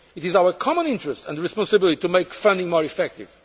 this work. It is our common interest and responsibility to make funding more